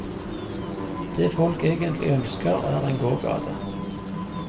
Det folk egentlig ønsker, er en gågate.